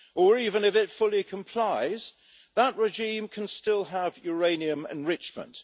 Or was it that, even if it fully complies, that regime can still have uranium enrichment?